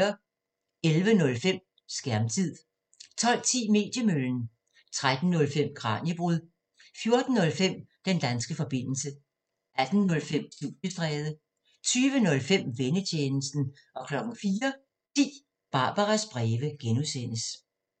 11:05: Skærmtid 12:10: Mediemøllen 13:05: Kraniebrud 14:05: Den danske forbindelse 18:05: Studiestræde 20:05: Vennetjenesten 04:10: Barbaras breve (G)